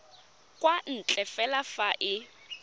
kwa ntle fela fa e